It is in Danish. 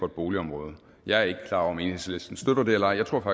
et boligområde jeg er ikke om enhedslisten støtter det eller ej jeg tror